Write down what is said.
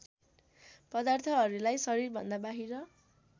पदार्थहरूलाई शरीरभन्दा बाहिर